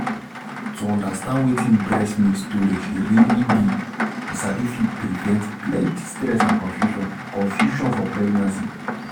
to understand wetin breast milk storage really be you sabi fit prevent plenty stress and confusion confusion for pregnancy